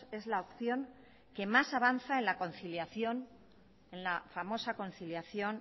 es la opción que más avanza en la conciliación en la famosa conciliación